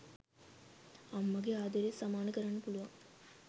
අම්මගේ ආදරේ සමාන කරන්න පුළුවන්